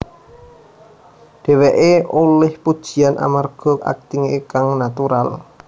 Dheweké olih pujian amarga aktingé kang natural